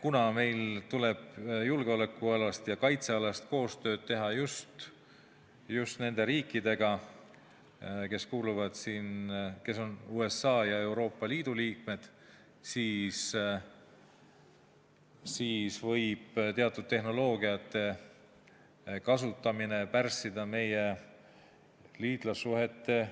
Kuna meil tuleb julgeoleku- ja kaitsealast koostööd teha just USA-ga ja nende riikidega, kes on Euroopa Liidu liikmed, siis võib teatud tehnoloogiate kasutamine pärssida meie liitlassuhete